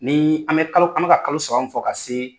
Ni an bɛ kalo an bɛ ka kalo saba min fɔ ka see